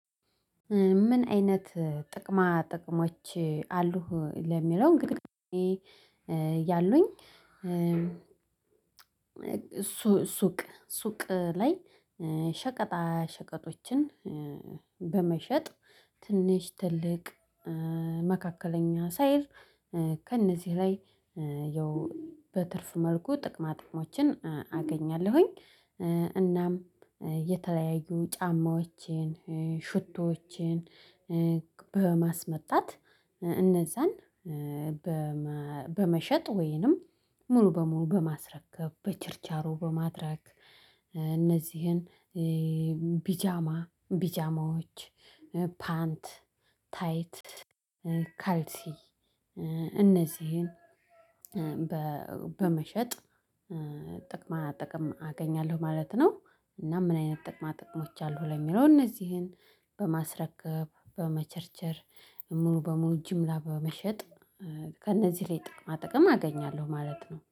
ምን አይነት ጥቅማ ጥቅሞች አሉህ? ለሚለው እንግዲህ እኔ ያሉኝ ሱቅ ሱቅ ላይ ሸቀጣ ሸቀጦችን በመሸጥ ትንሽ ትልቅ መካከለኛ ሳይል ከእነዚህ ላይ ያው በትርፍ መልኩ ጥቅማ ጥቅሞችን አገኛለሁኝ እናም የተለያዩ ጫማዎችን ሽቶዎችን በማስመጣት እነዛን በመሸጥ ወይንም ሙሉ በሙሉ በማስረከብ በቸርቻሮ በማድረግ እነዚህን ቢጃማ ቢጃማዎች ፓንት ታይት ካልሲ እነዚህን በመሸጥ ጥቅማ ጥቅም አገኛለሁ ማለት ነው። እና ምን አይነት ጥቅማ ጥቅሞች አሉ? ለሚለው እነዚህን በማስረከብ በመቸርቸር ሙሉ በሙሉ ጅምላ በመሸጥ ከእነዚህ ላይ ጥቅማ ጥቅም አገኛለሁ ማለት ነው።